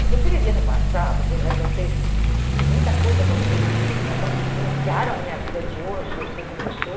Se você vivia no passado, apesar de eu ter muita coisa acontecido comigo no passado, que influenciaram a minha vida de hoje, eu sei como eu sou.